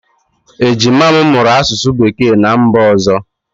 Ejima m mụrụ asụsụ Bekee ná mba ọzọ.